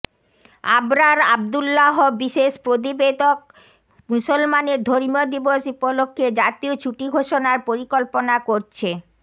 আবরার আবদুল্লাহ বিশেষ প্রতিবেদক মুসলামানের ধর্মীয় দিবস উপলক্ষ্যে জাতীয় ছুটি ঘোষণার পরিকল্পনা করছে